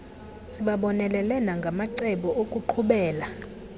sibabonelele nangamacebo okuqhubela